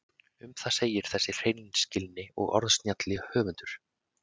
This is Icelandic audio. Um það segir þessi hreinskilni og orðsnjalli höfundur: